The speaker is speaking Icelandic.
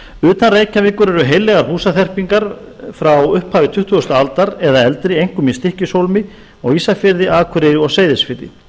utan reykjavíkur eru heillegar húsaþyrpingar frá upphafi tuttugustu aldar eða eldri einkum í stykkishólmi á ísafirði akureyri og seyðisfirði